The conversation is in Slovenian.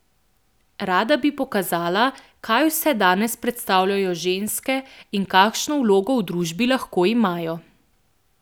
Rada bi pokazala, kaj vse danes predstavljajo ženske in kakšno vlogo v družbi lahko imajo.